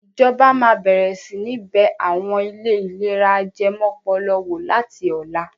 Ìjọba máa bẹ̀rẹ̀ sí ní bẹ àwọn ilé ìlera ajẹmọ́pọlọ wò láti ọ̀la.